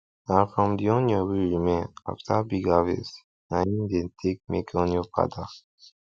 na from the onion wey remain after big harvest na im dem take make onion powder